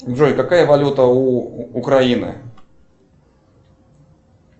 джой какая валюта у украины